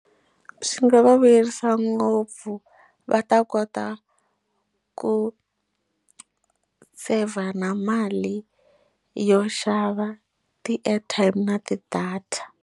Swi nga va vuyerisa ngopfu va ta kota ku save na mali yo xava ti airtime na ti data.